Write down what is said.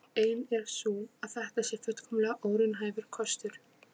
Ein er sú að þetta sé fullkomlega óraunhæfur kostur.